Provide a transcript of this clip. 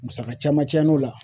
Musaka caman cayal'o la